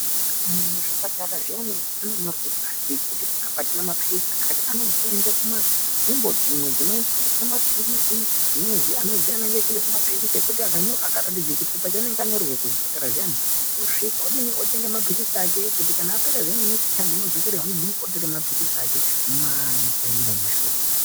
Kuzvipatara zviyani anonyora pashi kuti pananapa atina mapirisi akati anoende kunzvimbo dzimwe dzinowanika akaratidze chipepa chaanenge anosvika otenge mapirisi ake kuti apera zviya nekisiti taimu anodzokere zviyani otenge mapirisi ake mumashop.